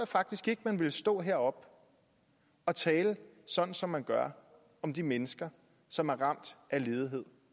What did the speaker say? faktisk ikke at man ville stå heroppe og tale sådan som man gør om de mennesker som er ramt af ledighed